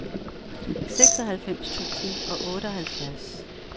seksoghalvfems tusind og otteoghalvfjerds